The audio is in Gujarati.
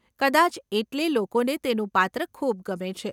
કદાચ એટલે લોકોને તેનું પાત્ર ખૂબ ગમે છે.